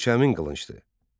Qılınc həmin qılıncdır.